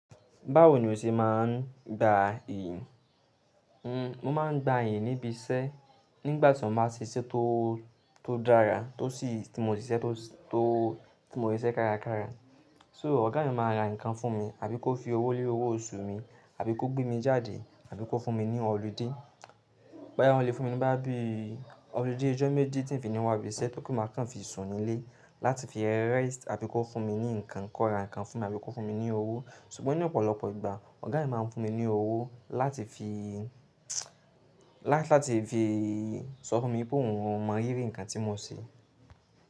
Báwo ni o ṣe máa ń gba ìyìn? Mo máa ń gba ìyìn níbi iṣẹ́ nígbà tí mo bá ṣe iṣẹ́ tó dára, tó sì tí mo ṣe iṣẹ́ kárakára. So ọ̀gá mi máa ra nǹkan fún mi àbí kó fi owó lé owó oṣù mi, àbí kó gbé mi jáde, àbí kó fún mi ní ọludé. Bóyá wọ́n lè fún mi ní bá bí ọludé ijọ́ méjì tí ń fi ni wá ibi iṣẹ́ tó kí n máa kàn fi sùn nílé láti fi iyẹn rẹ́sti àbí kó fún mi ní ǹkan kọ́ra, ǹkan fún mi, àbí kó fún mi ní owó. Ṣùgbọ́n ní ọ̀pọ̀lọpọ̀ ìgbà ọ̀gá mi máa ń fún mi ní owó láti fi, láti fi sọ fún mi pé òun mọ rírì ǹkan tí mo ṣe.